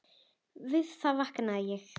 Við það vaknaði ég.